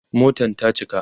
Motan ta cika